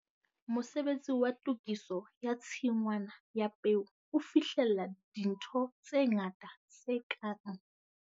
Mosebetsi wa tokiso ya tshingwana ya peo o fihlella dintho tse ngata tse kang.